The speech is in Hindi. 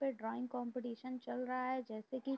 कोई ड्रॉइंग कंपटीशन चल रहा है जैसे की --